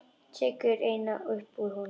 Tekur eina upp úr honum.